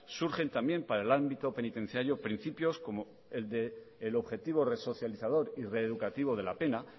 surgen también para el ámbito penitenciario principios como el del objetivo resocializador y reeducativo de la pena